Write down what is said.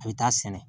A bɛ taa sɛnɛ